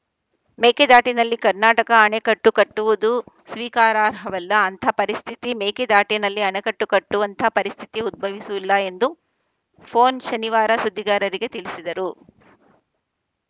ಮೇಕೆದಾಟಿನಲ್ಲಿ ಕರ್ನಾಟಕ ಅಣೆಕಟ್ಟು ಕಟ್ಟುವುದು ಸ್ವೀಕಾರಾರ್ಹವಲ್ಲ ಅಂಥ ಪರಿಸ್ಥಿತಿ ಮೇಕೆದಾಟಿನಲ್ಲಿ ಅಣೆಕಟ್ಟು ಕಟ್ಟುವಂಥ ಪರಿಸ್ಥಿತಿ ಉದ್ಭವಿಸುವುಲ್ಲ ಎಂದು ಪೊನ್‌ ಶನಿವಾರ ಸುದ್ದಿಗಾರರಿಗೆ ತಿಳಿಸಿದರು